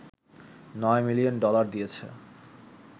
৯ million dollar দিয়েছে